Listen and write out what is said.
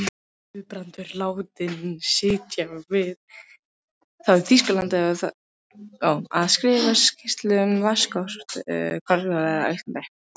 Guðbrandur látinn sitja við það í Þýskalandi að skrifa skýrslu um vatnsorku á Íslandi.